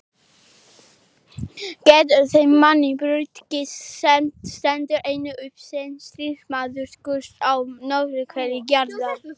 Getur þeim manni brugðið, sem stendur einn uppi sem stríðsmaður Guðs á norðurhveli jarðar?